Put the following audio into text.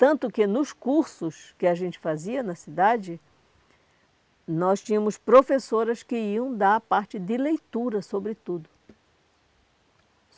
Tanto que, nos cursos que a gente fazia na cidade, nós tínhamos professoras que iam dar a parte de leitura, sobretudo.